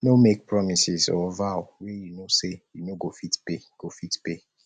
no make promises or vow wey you know sey you no go fit pay go fit pay